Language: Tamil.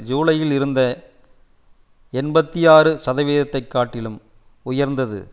ஜூலையில் இருந்த எண்பத்தி ஆறு சதவிகிதத்தை காட்டிலும் உயர்ந்து